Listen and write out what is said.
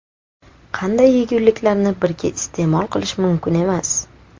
Qanday yeguliklarni birga iste’mol qilish mumkin emas?.